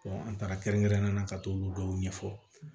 an taara kɛrɛnkɛrɛnnenya la ka t'olu dɔw ɲɛfɔ